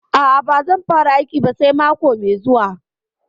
A'a, ba zan fara aiki ba sai mako mai zuwa.